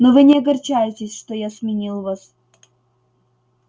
но вы не огорчайтесь что я сменил вас